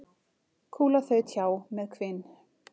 Kúla þaut hjá með hvin.